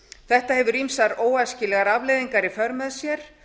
þetta hefur ýmsar óæskilegar afleiðingar í för með sér